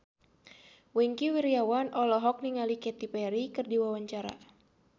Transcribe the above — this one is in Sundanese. Wingky Wiryawan olohok ningali Katy Perry keur diwawancara